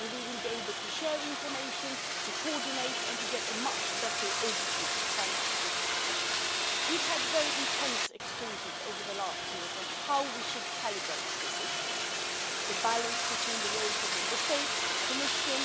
We will be able to share information, to coordinate and to get a much better overview thanks to this proposal. We've had very intense exchanges over the past years on how we should calibrate this instrument the balance between the roles of Member States and the Commission